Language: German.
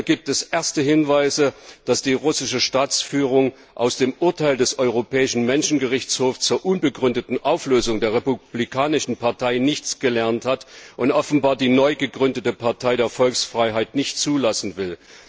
Leider gibt es erste Hinweise, dass die russische Staatsführung aus dem Urteil des europäischen Menschenrechtsgerichtshofs zur unbegründeten Auflösung der Republikanischen Partei nichts gelernt hat und offenbar die neugegründete Partei der Volksfreiheit nicht zulassen will.